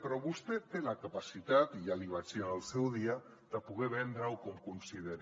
però vostè té la capacitat i ja li vaig dir en el seu dia de poder vendre ho com consideri